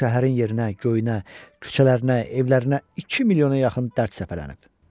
Bu şəhərin yerinə-göyünə, küçələrinə, evlərinə iki milyona yaxın dərd səpələnib.